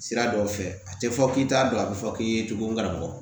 Sira dɔw fɛ a tɛ fɔ k'i t'a dɔn a bɛ fɔ k'i ye cogo min karamɔgɔ